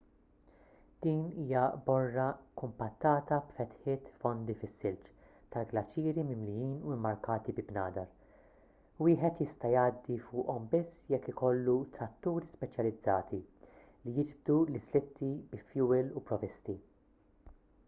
din hija borra kumpattata b'fetħiet fondi fis-silġ tal-glaċieri mimlijin u mmarkati bi bnadar wieħed jista' jgħaddi fuqhom biss jekk ikollu tratturi speċjalizzati li jiġbdu l-islitti bi fjuwil u provvisti